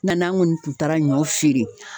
Nka n'an kɔni tun taara ɲɔ feere.